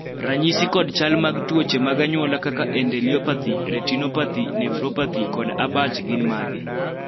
ranyisi kod chal mag tuoche mag anyuola kaka endeliopathy, retinopathy, nephropathy kod abach gin mage?